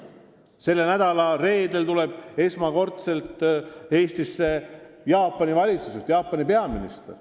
Selle nädala reedel tuleb esmakordselt Eestisse Jaapani peaminister.